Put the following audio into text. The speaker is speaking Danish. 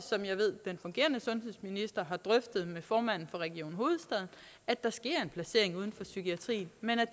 ved at den fungerende sundhedsminister har drøftet med formanden for region hovedstaden at der sker en placering uden for psykiatrien men